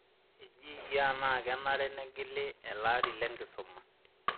Eji iyie enaa kenare negili elaari lenkisuma?